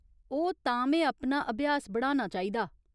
ओह्, तां में अपना अभ्यास बढ़ाना चाहिदा।